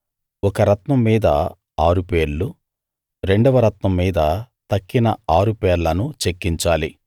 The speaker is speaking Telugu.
ఒక రత్నం మీద ఆరు పేర్లు రెండవ రత్నం మీద తక్కిన ఆరు పేర్లను చెక్కించాలి